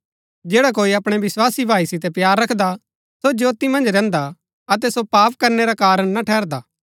जैडा कोई अपणै विस्वासी भाई सितै प्‍यार रखदा सो ज्योती मन्ज रैहन्दा अतै सो पाप करनै रा कारण ना ठहरदा